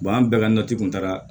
an bɛɛ ka nati kun taara